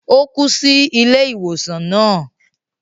O kú sí ilé ìwòsàn náà